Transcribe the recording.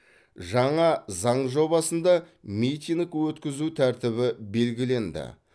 жаңа заң жобасында митинг өткізу тәртібі белгіленді